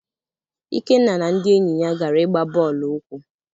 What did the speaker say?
Ikenna na ndị enyi ya gara igba bọọlụ ụkwụ.